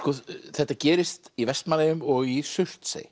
þetta gerist í Vestmannaeyjum og í Surtsey